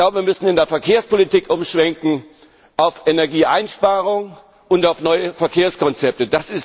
Wir müssen in der Verkehrspolitik umschwenken auf Energieeinsparung und auf neue Verkehrskonzepte.